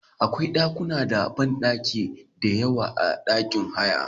Akwa ɗakuna da banɗaki diyawa a ɗakin haya.